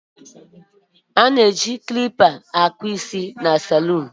A na-eji mkpagide mee ihe n'ụlọ ahia ọkpụkpụ isi ọ bụla